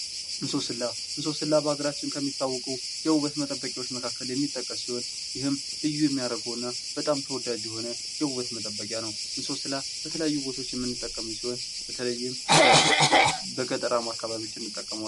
እንሶስላ፦ እንሶስላ በሀገራችን ከሚታወቁ የውበት መጠበቂያዎች መካከል የሚጠቀስ ሲሆን ይህም ልዩ የሚያደርገውና በጣም ተወዳጅ የሆነ የውበት መጠበቂያ ነው። እንሶስላ በተለያዩ አካባቢዎች የምንጠቀምበት ሲሆን በተለይም በገጠራማዎች አካባቢ እንጠቀመዋለን።